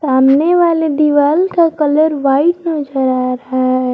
सामने वाले दीवाल का कलर वाइट नजर आ रहा है।